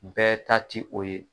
Bɛɛ ta ti o ye.